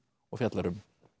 og fjallar um